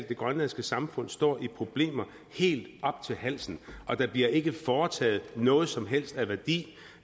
det grønlandske samfund står i problemer helt op til halsen og der bliver ikke foretaget noget som helst af værdi